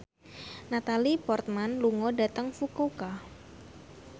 Natalie Portman lunga dhateng Fukuoka